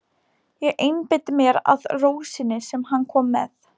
Ég einbeiti mér að rósinni sem hann kom með.